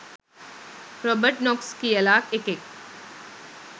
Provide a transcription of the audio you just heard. Robert Knox කියල එකෙක්